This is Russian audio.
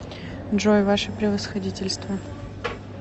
джой ваше превосходительство